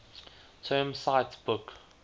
term cite book